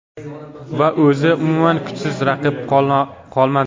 Va o‘zi umuman kuchsiz raqib qolmadi.